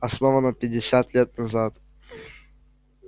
основана пятьдесят лет назад